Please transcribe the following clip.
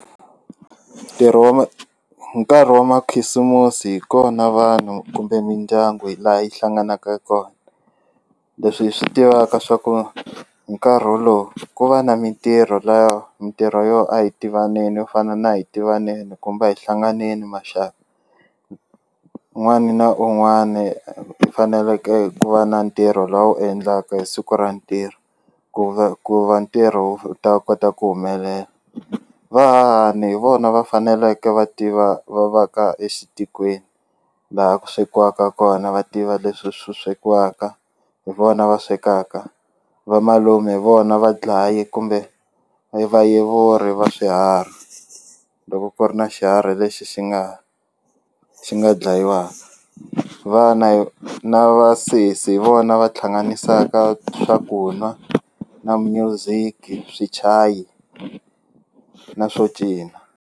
Ntirho wa ma nkarhi wa makhisimusi hi kona vanhu kumbe mindyangu hi laha yi hlanganaka kona leswi hi swi tivaka swa ku hi nkarhi wolowo ku va na mintirho laya mintirho yo a hi tivaneni yo fana na hi tivaneni kumbe a hi hlanganeni maxaka un'wani na un'wani u faneleke ku va na ntirho lowu endlaka hi siku ra ntirho ku va ku va ntirho wu ta kota ku humelela vahahani hi vona va faneleke va tiva va va ka exitikweni laha ku swekiwaka kona va tiva leswi swi swekiwaka hi vona va swekaka vamalume hi vona va dlayi kumbe vayevuri va swiharhi loko ku ri na xiharhi lexi xi nga xi nga dlayiwaka vana na vasesi hi vona va thlanganisaka swakunwa na music swichayi na swo cina.